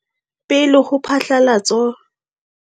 Pele ho phatlalatso.